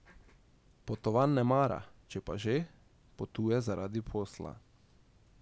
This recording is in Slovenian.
Potovanj ne mara, če pa že, potuje zaradi posla.